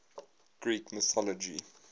greek mythology